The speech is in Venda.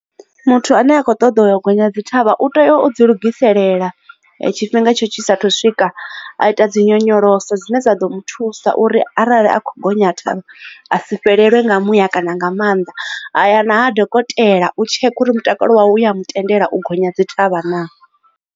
Muthu ane a kho ṱoḓa u ya gonya dzi thavha u tea o ḓi lugisela tshifhinga tshisa thu swika a ita dzi nyonyoloso dzine dza ḓo muthusa uri arali a kho gonya thavha a si fhelelwe nga muya kana nga maanḓa haya na ha dokotela u tsheka uri mutakalo wawe u ya mutendela u gonya dzi thavha na.